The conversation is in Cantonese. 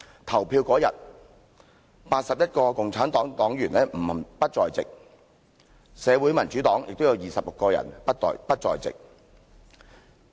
投票當天 ，81 位共產黨黨員不在席，社會民主黨也有26位議員不在席。